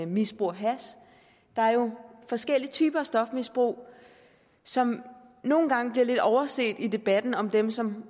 misbruger hash der er jo forskellige typer af stofmisbrug som nogle gange bliver lidt overset i debatten om dem som